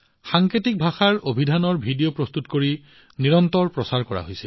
সাংকেতিক ভাষাৰ অভিধানৰ ভিডিঅ প্ৰস্তুত কৰি নিৰন্তৰে প্ৰচাৰ কৰা হৈছে